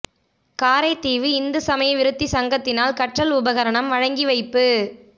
காரைதீவு இந்து சமய விருத்தி சங்கத்தினால் கற்றல் உபரணம் வழங்கி வைப்பு